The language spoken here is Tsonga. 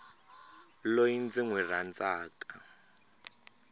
loyi ndzi n wi rhandzaka